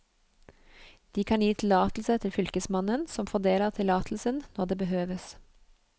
De kan gi tillatelse til fylkesmannen, som fordeler tillatelsen når det behøves.